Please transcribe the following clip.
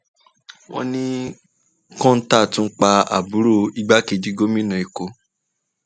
wọn ní kọńtà tún pa àbúrò igbákejì gómìnà èkó